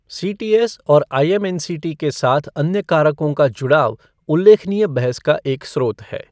CTS और IMNCT के साथ अन्य कारकों का जुड़ाव उल्लेखनीय बहस का एक स्रोत है।